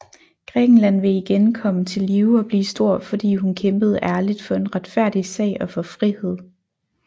Grækenland vil igen komme til live og blive stor fordi hun kæmpede ærligt for en retfærdig sag og for frihed